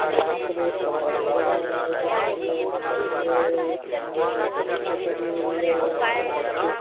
यहां पर एक कमरा नजर आ रहा है जिसके अंदर ए सामने एक पिक्‍चर लगी हुई है और उसके नीचे --